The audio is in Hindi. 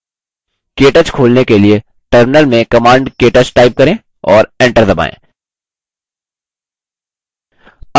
केto खोलने के लिए terminal में command ktouch type करें और enter दबाएँ